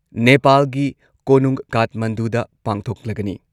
ꯅꯦꯄꯥꯜꯒꯤ ꯀꯣꯅꯨꯡ ꯀꯥꯊꯃꯟꯗꯨꯗ ꯄꯥꯡꯊꯣꯛꯂꯒꯅꯤ꯫